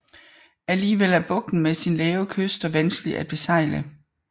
Alligevel er bugten med sine lave kyster vanskelig at besejle